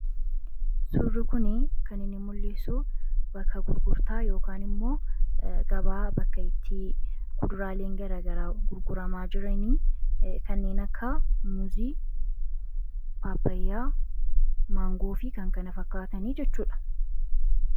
Suurri kunii kan inni mul'isu bakka gurgurtaa yookaan immoo gabaa bakka itti kuduraaleen gurguramaa jiranii kanneen akka muuzii, paappayaa, maangoo fi kan kana fakkaatan jechuu dha.